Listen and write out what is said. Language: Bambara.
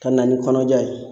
Ka na ni kɔnɔja ye.